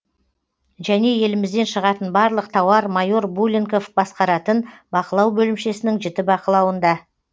және елімізден шығатын барлық тауар майор буленков басқаратын бақылау бөлімшесінің жіті бақылауында